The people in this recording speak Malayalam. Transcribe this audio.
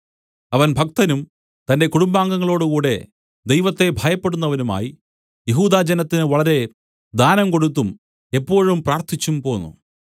അവൻ ഭക്തനും തന്റെ കുടുംബാംഗങ്ങളോടുകൂടെ ദൈവത്തെ ഭയപ്പെടുന്നവനുമായി യെഹൂദാ ജനത്തിന് വളരെ ദാനം കൊടുത്തും എപ്പോഴും പ്രാർത്ഥിച്ചും പോന്നു